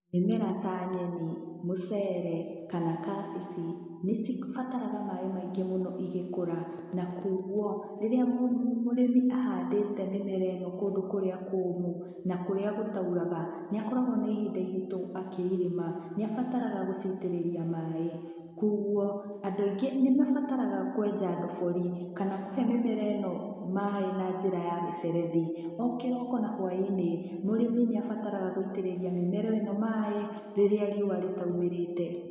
Mĩmera ta nyeni, mũcere, kana kabici, nĩ cibataraga maaĩ maingĩ mũno igĩkũra. Na kũoguo, rĩrĩa mũrĩmi ahandĩte mĩmera ĩyo kũndũ kũrĩa kũũmũ, na kũrĩa gũtauraga, nĩ akoragwo ma ihinda irĩtũ akĩirĩma, nĩ abataraga gũciitĩrĩria maaĩ. Kũoguo andũ aingĩ nĩ mabataraga kũenja ndobori, kana kũhe mĩmera ĩno maaĩ na njĩra ya mĩberethi. O kĩroko na hwaĩ-inĩ, mũrĩmi nĩ abataraga gũitĩrĩria mĩmera ĩno maaĩ, rĩrĩa riũa rĩtaumĩrĩte.